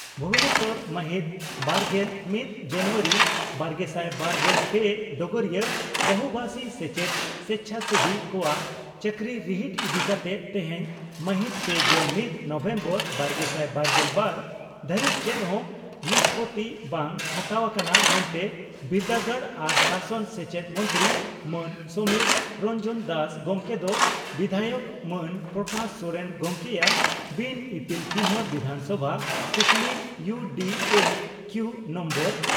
ᱵᱷᱩᱵᱚᱱᱮᱥᱚᱨ ᱢᱟᱦᱤᱛ ᱵᱟᱨᱜᱮᱞ ᱢᱤᱛ ᱡᱟᱱᱩᱣᱟᱨᱤ ᱵᱟᱨᱜᱮᱥᱟᱭ ᱵᱟᱨᱜᱮᱞ ᱯᱮ (ᱰᱚᱜᱚᱨᱤᱭᱟᱹ) ᱺ ᱵᱚᱦᱩᱵᱟᱥᱤ ᱥᱮᱪᱮᱫ ᱥᱮᱪᱷᱟᱥᱮᱵᱤ ᱠᱚᱣᱟᱜ ᱪᱟᱹᱠᱨᱤ ᱨᱤᱦᱤᱴ ᱤᱫᱤ ᱠᱟᱛᱮ ᱛᱮᱦᱮᱧ (ᱢᱟᱦᱤᱛ ᱯᱮᱜᱮᱞ ᱢᱤᱛ ᱱᱚᱵᱷᱮᱢᱵᱚᱨ ᱵᱟᱨᱜᱮᱥᱟᱭ ᱵᱟᱨᱜᱮᱞ ᱵᱟᱨ ) ᱫᱷᱟᱹᱨᱤᱡ ᱪᱮᱫ ᱦᱚᱸ ᱱᱤᱥᱯᱳᱛᱤ ᱵᱟᱝ ᱦᱟᱛᱟᱣ ᱟᱠᱟᱱᱟ ᱢᱮᱱᱛᱮ ᱵᱤᱨᱫᱟᱹᱜᱟᱲ ᱟᱨ ᱥᱟᱥᱚᱱ ᱥᱮᱪᱮᱫ ᱢᱚᱱᱛᱨᱤ ᱢᱟᱱ ᱥᱚᱢᱤᱨ ᱨᱚᱱᱡᱚᱱ ᱫᱟᱥ ᱜᱚᱢᱠᱮ ᱫᱚ ᱵᱤᱫᱷᱟᱭᱚᱠ ᱢᱟᱱ ᱯᱨᱚᱠᱟᱥ ᱥᱚᱨᱮᱱ ᱜᱚᱢᱠᱮᱭᱟᱜ ᱵᱤᱱ ᱤᱯᱤᱞ ᱪᱤᱱᱦᱟᱹ ᱵᱤᱫᱷᱟᱱᱥᱚᱵᱷᱟ ᱠᱩᱠᱞᱤ ᱤᱭᱩ ᱰᱤ ᱮ ᱠᱤᱣᱩ ᱱᱚᱢᱵᱚᱨ